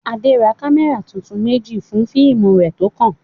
Adé ra kámẹ́rà tuntun méjì fún fíìmù rẹ̀ tó kàn.